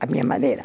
Da minha maneira.